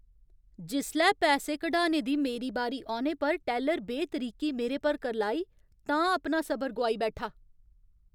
जिसलै पैसे कढाने दी मेरी बारी औने पर टैल्लर बेतरीकी मेरे पर करलाई तां अपना सबर गोआई बैठा।